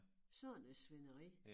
Sådan et svineri